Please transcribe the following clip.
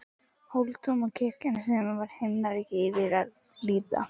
Hóladómkirkja var sem himnaríki yfir að líta.